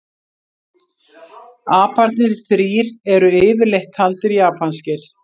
Aparnir þrír eru yfirleitt taldir japanskir.